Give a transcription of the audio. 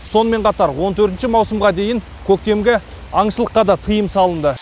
сонымен қатар он төртінші маусымға дейін көктемгі аңшылыққа да тыйым салынды